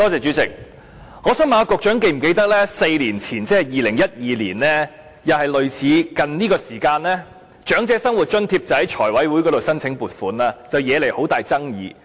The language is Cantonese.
主席，我想問局長是否記得在4年前，即2012年，也是大概這個時間，當局就長者生活津貼向財委會申請撥款，惹起很大爭議。